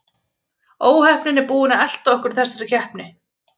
Óheppnin er búin að elta okkur í þessari keppni.